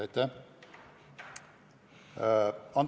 Aitäh!